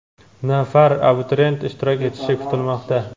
nafar abituriyent ishtirok etishi kutilmoqda.